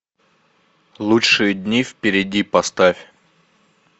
лучшие дни впереди поставь